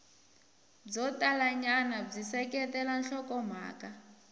byo talanyana byi seketela nhlokomhaka